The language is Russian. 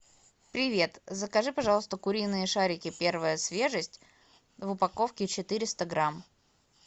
привет закажи пожалуйста куриные шарики первая свежесть в упаковке четыреста грамм